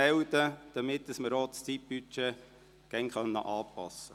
So können wir das Zeitbudget laufend anpassen.